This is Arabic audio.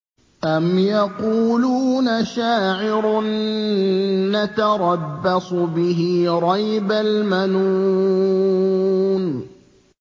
أَمْ يَقُولُونَ شَاعِرٌ نَّتَرَبَّصُ بِهِ رَيْبَ الْمَنُونِ